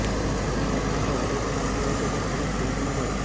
તેણે સુલતાન માટે ઑડિશન આપ્યું હતું પણ તેને ફિલ્મ ન મળી